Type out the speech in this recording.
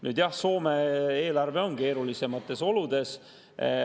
Nüüd jah, Soome eelarve on keerulisemates oludes.